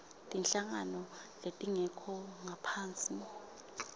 tinhlangano letingekho ngaphasi